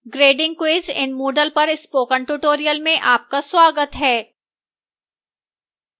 grading quiz in moodle पर spoken tutorial में आपका स्वागत है